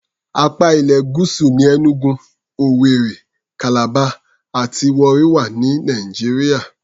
Apá ilẹ̀ Gúúsù ní Enugu, Owerri, Calabar àti Warri wà ní Nàìjíríà.